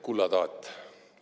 Kulla taat!